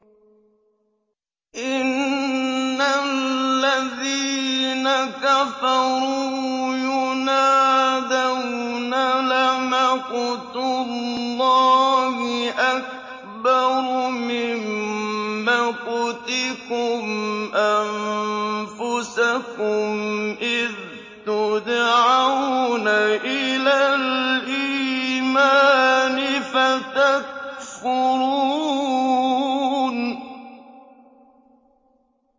إِنَّ الَّذِينَ كَفَرُوا يُنَادَوْنَ لَمَقْتُ اللَّهِ أَكْبَرُ مِن مَّقْتِكُمْ أَنفُسَكُمْ إِذْ تُدْعَوْنَ إِلَى الْإِيمَانِ فَتَكْفُرُونَ